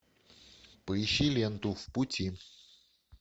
поищи ленту в пути